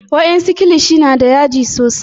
wa en su kilishi na da yaji sosai